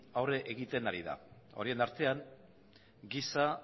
aurre egiten ari da horien artean giza